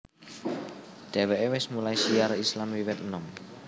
Dheweke wis mulai syiar Islam wiwit enom